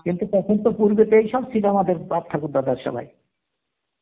কিন্তু তখন তো পূর্বেতে এইসব ছিল আমাদের বাপ ঠাকুরদার সময়